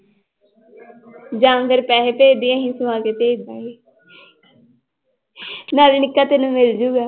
ਜਾਂ ਫਿਰ ਪੈਸੇ ਭੇਜ ਦੇਈਂ ਅਸੀਂ ਸਵਾ ਕੇ ਭੇਜ ਦੇਵਾਂਗੇ ਨਾਲੇ ਨਿੱਕਾ ਤੈਨੂੰ ਮਿਲ ਜਾਊਗਾ।